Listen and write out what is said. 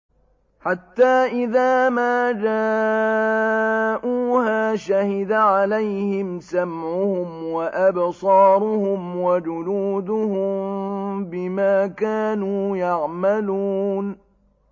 حَتَّىٰ إِذَا مَا جَاءُوهَا شَهِدَ عَلَيْهِمْ سَمْعُهُمْ وَأَبْصَارُهُمْ وَجُلُودُهُم بِمَا كَانُوا يَعْمَلُونَ